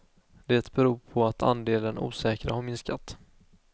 Det beror på att andelen osäkra har minskat.